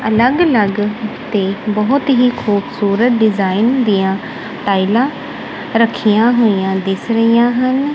ਅਲੱਗ ਅਲੱਗ ਤੇ ਬਹੁਤ ਹੀ ਖੂਬਸੂਰਤ ਡਿਜਾਇਨ ਦੀਆਂ ਟਾਈਲਾਂ ਰੱਖੀਆਂ ਹੋਈਆਂ ਦਿਸ ਰਹੀਆਂ ਹਨ।